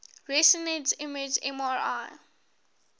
resonance imaging mri